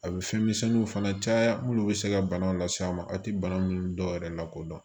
A bɛ fɛn misɛnninw fana caya minnu bɛ se ka bana lase a ma a tɛ bana minnu dɔw yɛrɛ lakodɔn